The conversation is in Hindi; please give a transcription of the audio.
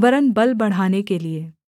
वरन् बल बढ़ाने के लिये